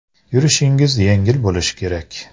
Yurishingiz yengil bo‘lishi kerak.